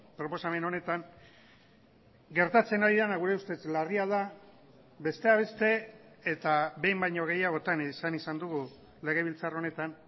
proposamen honetan gertatzen ari dena gure ustez larria da besteak beste eta behin baino gehiagotan esan izan dugu legebiltzar honetan